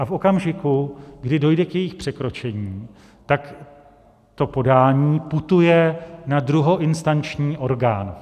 A v okamžiku, kdy dojde k jejich překročení, tak to podání putuje na druhoinstanční orgán.